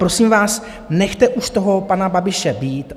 Prosím vás, nechte už toho pana Babiše být.